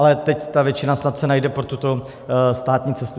Ale teď ta většina snad se najde pro tuto státní cestu.